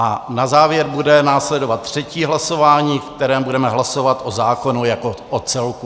A na závěr bude následovat třetí hlasování, ve kterém budeme hlasovat o zákonu jako o celku.